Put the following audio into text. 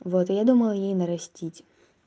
вот я думаю ей нарастить